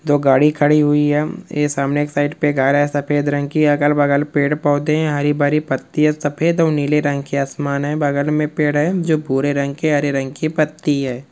दो गाड़ी खड़ी हुई है ये सामने एक साइड पे घर है सफेद रंग की अलग बगल पेड़ पोधे है हरी भरी पत्ती है सफेद और नीले रंग की आसमान है बगल में पेड़ है जो भूरे रंग की हरे रंग की पत्ती है।